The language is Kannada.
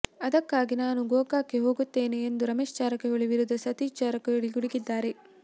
ಅದಕ್ಕಾಗಿ ನಾನು ಗೋಕಾಕ್ಗೆ ಹೋಗುತ್ತೇನೆ ಎಂದು ರಮೇಶ್ ಜಾರಕಿಹೊಳಿ ವಿರುದ್ಧ ಸತೀಶ್ ಜಾರಕಿಹೊಳಿ ಗುಡುಗಿದ್ದಾರೆ